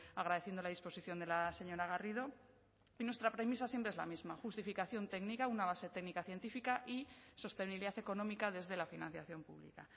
agradeciendo la disposición de la señora garrido y nuestra premisa siempre es la misma justificación técnica una base técnica científica y sostenibilidad económica desde la financiación pública